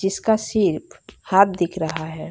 जिसका सिर्फ हाथ दिख रहा है।